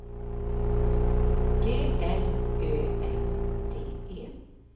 G L Ö M D E